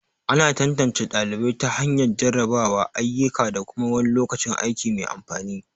Ana tantance ɗalibai ta hanyar jarrabawa, ayyuka, da kuma wani lokacin aiki mai amfani.